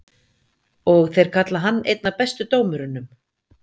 Og þeir kalla hann einn af bestu dómurunum?